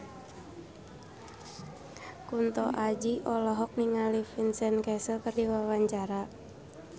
Kunto Aji olohok ningali Vincent Cassel keur diwawancara